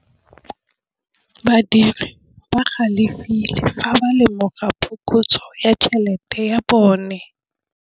Badiri ba galefile fa ba lemoga phokotsô ya tšhelête ya bone.